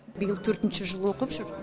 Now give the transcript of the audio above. биыл төртінші жыл оқып жүр